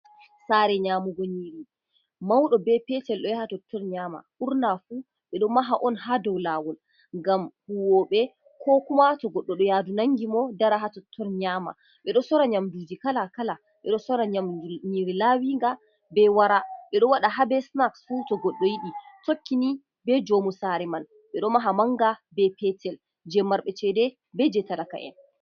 Sare Nyamugo Nyiri mauɗo be Petel ɗo yaha Totton nyama. ɓurna fu ɓiɗo maha'on ha dau Lawol ngam huwoɓe Ko kuma to goɗɗo ɗo yadu nangimo dara ha totton Nyama. ɓeɗo Sora yamduji Kala Kala, ɓiɗo Sora Nyiri lawiga be wara. ɓiɗo waɗa ha be Sinaks fu to Godɗo yiɗi, tokkini be jaumu Sari man, ɓe ɗo Maha manga be Petel je marɓe Cede be je Talaka'en.